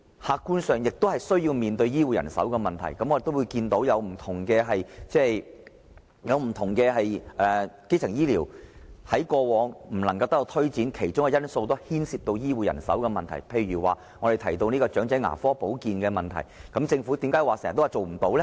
客觀上，基層醫療亦要面對醫護人手的問題，我看到不同的基層醫療服務在過往不能得以推展，其中一個因素是牽涉醫護人手的問題，例如長者牙科保健的問題，政府為何經常說做不到呢？